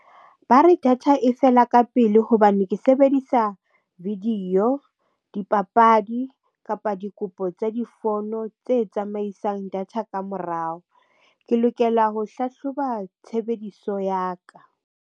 Ba re data e fela ka pele hobane ke sebedisa video, dipapadi kapa dikopo tsa difono tse tsamaisang data ka morao. Ke lokela ho hlahloba tshebediso ya ka.